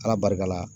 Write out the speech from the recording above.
Ala barika la